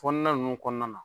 ninnu kɔnɔna na.